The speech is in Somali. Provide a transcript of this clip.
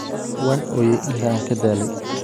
Waan ooyay ilaa aan ka daalay